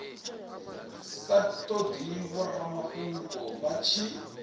sa todi vhoramafhungo vha tshi